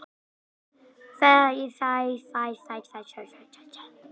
Við þeim blasti mynstur sem endurspeglaði yfirráð karla, nánast hvert sem litið var.